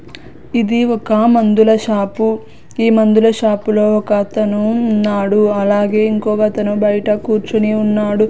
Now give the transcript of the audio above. ఇది ఒక మందుల షాపు ఈ మందుల షాపులో ఒకతను ఉన్నాడు అలాగే ఇంకొకతను బయట కూర్చుని ఉన్నాడు.